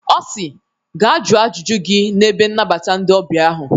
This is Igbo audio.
Ọ si "Gaa jụọ ajụjụ gị na ebe nnabata ndị ọbịa ahụ.